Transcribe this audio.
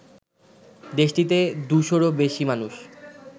দেশটিতে দুশোরও বেশি মানুষ